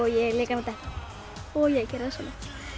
ég leik hana detta og ég gerði það svona